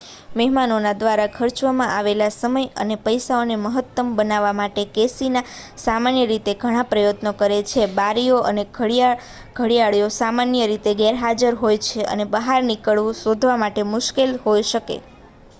મહેમાનો દ્વારા ખર્ચવામાં આવેલા સમય અને પૈસાને મહત્તમ બનાવવા માટે કેસિનો સામાન્ય રીતે ઘણા પ્રયત્નો કરે છે બારીઓ અને ઘડિયાળો સામાન્ય રીતે ગેરહાજર હોય છે અને બહાર નીકળવું શોધવા માટે મુશ્કેલ હોઈ શકે